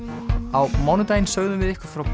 á mánudaginn sögðum við ykkur frá